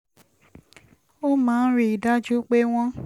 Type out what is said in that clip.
ó máa ń rí i dájú pé wọ́n